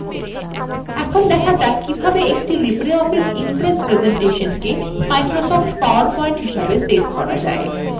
এখন শেখা যাক কিভাবে একটি libreoffice impress presentation microsoft powerpoint হিসাবে save করা যায়